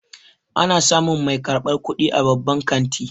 Ana samun mai ansan kuɗi a babban kanti